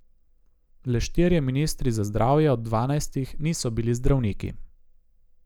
Le štirje ministri za zdravje od dvanajstih niso bili zdravniki.